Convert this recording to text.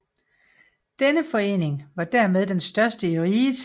Denne forening var dermed den største i riget